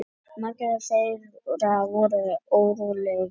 Margir þeirra voru órólegir.